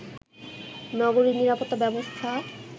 নগরীর নিরাপত্তা ব্যবস্থা